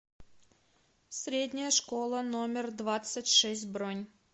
средняя школа номер двадцать шесть бронь